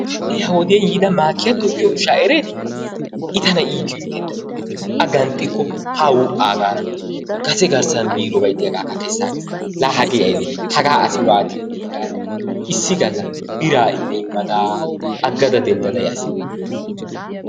Ha'i ha wodiyaan yiyaa maakiyatto giyo ushsha eretti? I tana iittyo iitettay. A ganxxikko ha wu'aa gaada kase garssan miirobay diyaagakka kessagays, la hagee aybbe hagaa asi waatti uyyi gaada issi galla biraa immada aggada denddada yaas.